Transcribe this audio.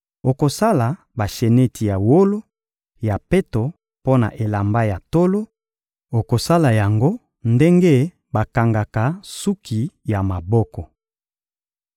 Okosala basheneti ya wolo ya peto mpo na elamba ya tolo; okosala yango ndenge bakangaka suki ya maboko.